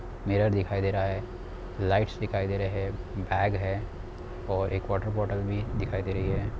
Mirror दिखाई दे रहा है| लाइट्स दिखाई दे रहे हैं| बैग है और एक वाटर बोतल भी दिखाई दे रही है।